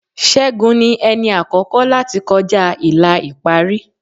Ṣẹ́gun ni ẹni àkọ́kọ́ láti kọjá ìlà ìparí.